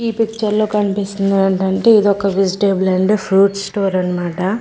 ఈ పిక్చర్ లో కనిపిస్తున్నది ఏంటి అంటే ఇదొక వెజిటేబుల్ అండ్ ఫ్రూట్ స్టోర్ అనమాట.